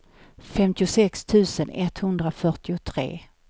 femtiosex tusen etthundrafyrtiotre